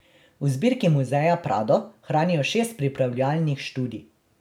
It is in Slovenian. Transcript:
V zbirki muzeja Prado hranijo šest pripravljalnih študij.